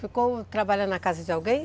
Ficou trabalhando na casa de alguém?